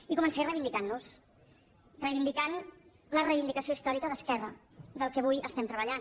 i començaré a reivindicantnos reivindicant les reivindicació històrica d’esquerra del que avui estem treballant